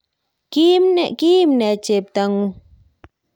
kiimne chebtong'ung'?